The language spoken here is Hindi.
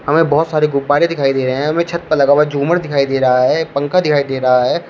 हमे बहोत सारे गुब्बारे दिखाई दे रहे हैं हमें छत पर लगा हुआ झूमर दिखाई दे रहा है पंखा दिखाई दे रहा है।